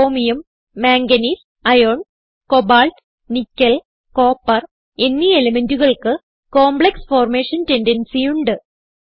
chromium manganese iron cobalt nickel copper എന്നീ elementകൾക്ക് complex formation tendency ഉണ്ട്